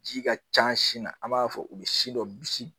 Ji ka ca sin na an b'a fɔ u bɛ si dɔ bisi